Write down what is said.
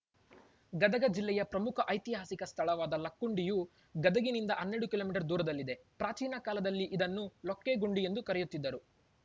ಗದಗಜಿಲ್ಲೆಯ ಪ್ರಮುಖ ಐತಿಹಾಸಿಕ ಸ್ಥಳವಾದ ಲಕ್ಕುಂಡಿಯು ಗದಗಿನಿಂದ ಹನ್ನೆರಡು ಕಿಲೋ ಮೀಟರ್ ದೂರದಲ್ಲಿದೆ ಪ್ರಾಚೀನ ಕಾಲದಲ್ಲಿಇದನ್ನು ಲೊಕ್ಕೆಗುಂಡಿ ಎಂದು ಕರೆಯುತ್ತಿದ್ದರು